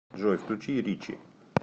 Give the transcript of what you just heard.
джой включи ричи